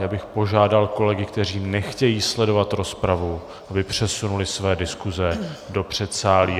Já bych požádal kolegy, kteří nechtějí sledovat rozpravu, aby přesunuli své diskuse do předsálí.